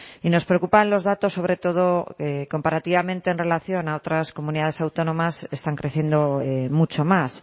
y nos preocupan los datos sobre todo comparativamente en relación a otras comunidades autónomas están creciendo mucho más